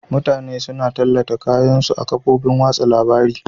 Mutane suna tallata kayan su a kofofin wasa labari.